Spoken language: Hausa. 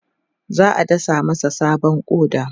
za'a dasa masa sabon ƙoda